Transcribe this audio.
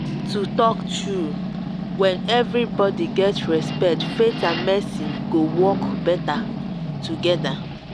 to talk true when everybody get respect faith and medicine go work better together.